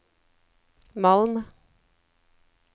Malm